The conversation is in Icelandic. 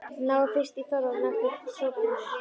Náið fyrst í Þorvald lækni og Sophus.